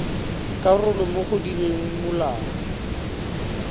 karolo mo go direng molao